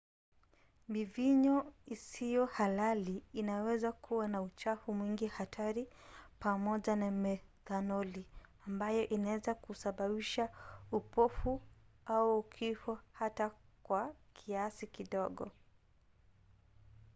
mivinyo isiyo halali inaweza kuwa na uchafu mwingi hatari pamoja na methanoli ambayo inaweza kusababisha upofu au kifo hata kwa kiasi kidogo